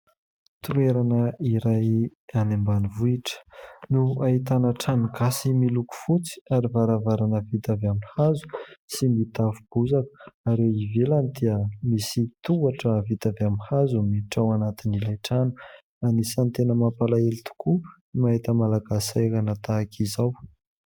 Toerana iray any ambanivohitra no ahitana trano gasy miloko fotsy ary varavarana vita avy amin'ny hazo sy ny tafo bozaka ary eo ivelany dia misy tohatra vita avy amin'ny hazo no miditra ao anatin'ilay trano. Anisan'ny tena mampalahelo tokoa ny mahita Malagasy sahirana tahaka izao.